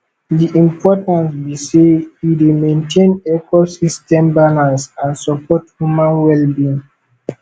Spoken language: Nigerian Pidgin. di importance be say e dey maintain ecosystem balance and support human wellbeing